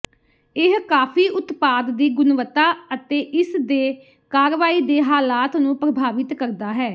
ਇਹ ਕਾਫ਼ੀ ਉਤਪਾਦ ਦੀ ਗੁਣਵੱਤਾ ਅਤੇ ਇਸ ਦੇ ਕਾਰਵਾਈ ਦੇ ਹਾਲਾਤ ਨੂੰ ਪ੍ਰਭਾਵਿਤ ਕਰਦਾ ਹੈ